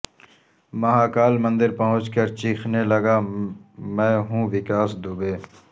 مہاکال مندر پہنچ کر چیخنے لگا میں ہوں وکاس دوبے